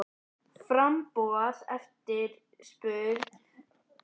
Framboð og eftirspurn á sjávarafurðum lúta ólíkum lögmálum.